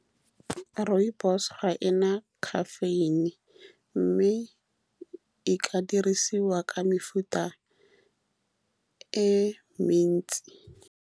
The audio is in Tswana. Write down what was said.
Rooibos-o ga e na caffeine, mme e ka dirisiwa ka mefuta e mentsi.